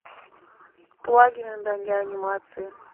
плагины для анимации